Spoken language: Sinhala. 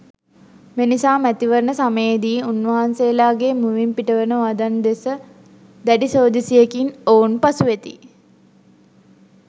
මෙනිසා මැතිවරණ සමයේදී උන්වහන්සේලාගේ මුවින් පිටවන වදන් දෙස දැඩි සෝදිසියකින් ඔවුන් පසුවෙති.